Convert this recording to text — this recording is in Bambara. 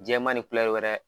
Jɛman ni wɛrɛ